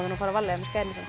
að fara varlega með skærin